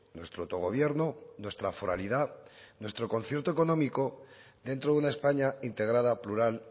nuestro autogobierno nuestra foralidad nuestro concierto económico dentro de una españa integrada plural